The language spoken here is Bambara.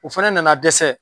O fana nana dɛsɛ